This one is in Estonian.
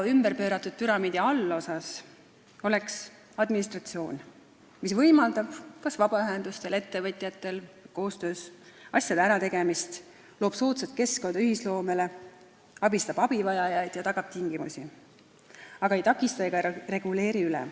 Ümberpööratud püramiidi allosas oleks administratsioon, mis võimaldab vabaühendustel ja ettevõtjatel koostöös asju ära teha, loob soodsa keskkonna ühisloomele, abistab abivajajaid ja tagab tingimusi, aga ei takista ega reguleeri üle.